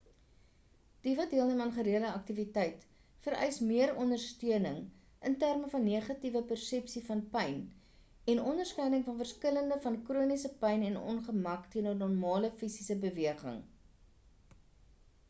die wat deelneem aan gereelde aktiwiteit vereis meer ondersteuning in terme van negatiewe persepsie van pyn en onderskeiding van verskille van chroniese pyn en ongemak teenoor normale fisiese beweging